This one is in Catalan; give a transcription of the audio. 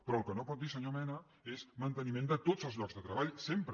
però el que no pot dir senyor mena és manteniment de tots els llocs de treball sempre